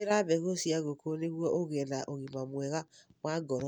Hũthĩra mbegũ cia ngũkũ nĩguo ũgĩe na ũgima mwega wa ngoro.